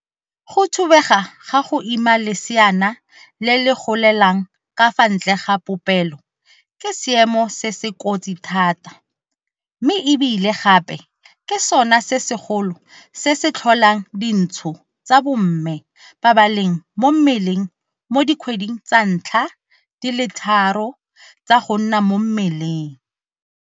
Go thubega ga go ima leseana le le golelang ka fa ntle ga popelo ke seemo se se kotsi thata mme e bile gape ke sona se segolo se se tlholang dintsho tsa bomme ba ba leng mo mmeleng mo dikgweding tsa ntlha di le tharo tsa go nna mo mmeleng.